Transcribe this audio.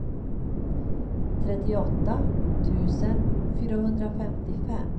trettioåtta tusen fyrahundrafemtiofem